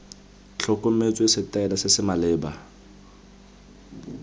tlhokometswe setaele se se maleba